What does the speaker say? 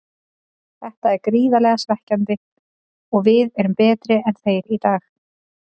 Þetta er gríðarlega svekkjandi og við erum betri en þeir í dag.